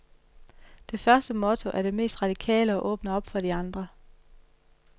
Det første motto er det mest radikale og åbner op for de andre.